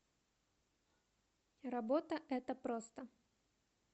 работа это просто